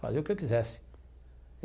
Fazer o que eu quisesse.